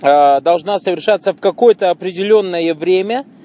аа должна совершаться в какое-то определённое время